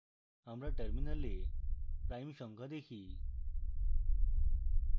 আমরা terminal prime সংখ্যা দেখি